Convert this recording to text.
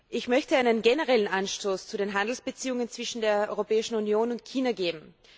Ich möchte einen generellen Anstoß zu den Handelsbeziehungen zwischen der Europäischen Union und China geben.